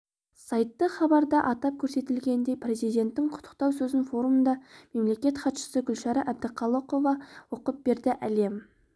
сайты хабарда атап көрсетілгендей президентінің құттықтау сөзін форумда мемлекет хатшысы гүлшара әбдіқалықова оқып берді әлем